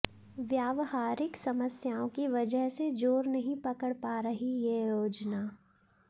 व्यावहारिक समस्याओं की वजह से जोर नहीं पकड़ पा रही यह योजना